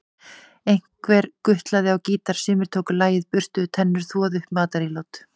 Einhver gutlaði á gítar, sumir tóku lagið, burstuðu tennur, þvoðu upp matarílát.